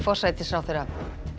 forsætisráðherra